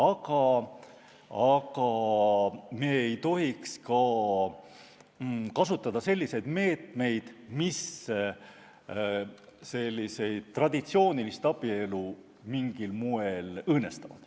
Samas me ei tohiks ka kasutada meetmeid, mis traditsioonilist abielu mingil moel õõnestab.